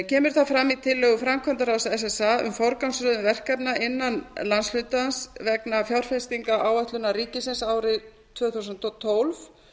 kemur það fram í tillögu framkvæmdaráðs ssa um forgangsröðun verkefna innan landshlutans vegna fjárfestingaráætlunar ríkisins árið tvö þúsund og tólf